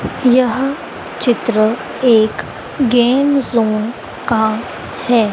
यह चित्र एक गेम जोन का है।